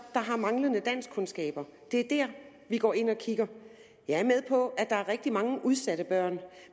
har manglende danskkundskaber det er der vi går ind og kigger jeg er med på at der er rigtig mange udsatte børn